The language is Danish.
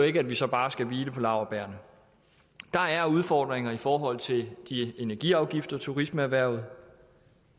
ikke at vi så bare skal hvile på laurbærrene der er udfordringer i forhold til de energiafgifter turismeerhvervet